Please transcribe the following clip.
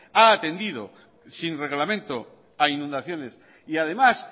ha atendido sin reglamento a inundaciones y además